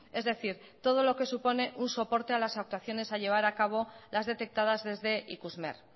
es decir todo lo que supone un soporte a las actuaciones a llevar a cabo las detectadas desde ikusmer